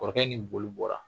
Kɔrɔkɛ ni boli bɔra